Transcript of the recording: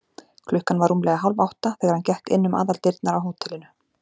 Klukkan var rúmlega hálfátta, þegar hann gekk inn um aðaldyrnar á hótelinu.